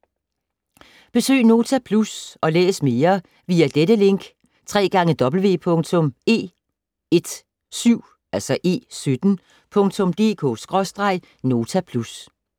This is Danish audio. Besøg Nota Plus og læs mere via dette link: www.e17.dk/notaplus